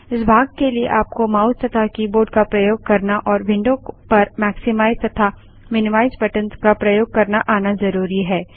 इस भाग के लिए आपको माउस तथा कीबोर्ड का प्रयोग करना और विंडो पर मैक्समाइज़ तथा मिनीमाइज़ बटंस का प्रयोग करना आना ज़रुरी है